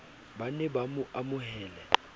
ba be ba mo amohele